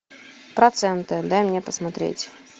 проценты дай мне посмотреть